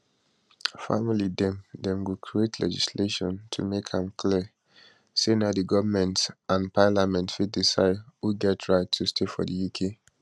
family dem dem go create legislation to make am clear say na di goment and parliament fit decide who get right to stay for di uk